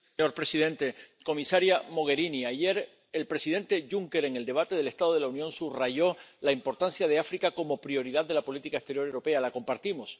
Señor presidente, comisaria Mogherini, ayer el presidente Juncker subrayó en el debate sobre el Estado de la Unión la importancia de África como prioridad de la política exterior europea. La compartimos.